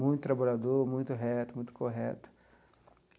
Muito trabalhador, muito reto, muito correto.